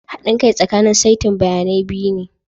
Haɗin kai tsakanin saitin bayanai biyu ne.